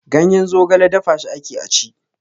Ganyen zogale dafa shi ake a ci.